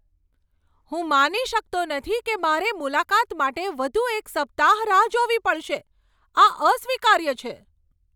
હું માની શકતો નથી કે મારે મુલાકાત માટે વધુ એક સપ્તાહ રાહ જોવી પડશે. આ અસ્વીકાર્ય છે.